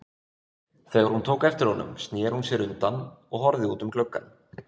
Þegar hún tók eftir honum snéri hún sér undan og horfði út um gluggann.